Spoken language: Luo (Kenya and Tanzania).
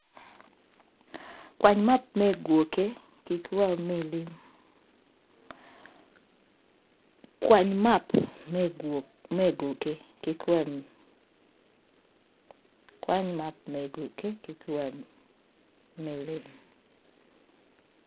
Kwany map me gwokke ki wel me lim.